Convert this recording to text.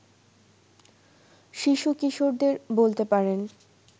শিশু-কিশোরদের বলতে পারেন